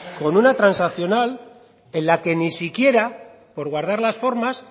con una transaccional en la que ni siquiera por guardar las formas